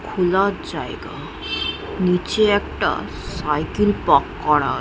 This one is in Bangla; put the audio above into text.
খোলা জায়গা নিচে একটা সাইকেল পার্ক করা আ--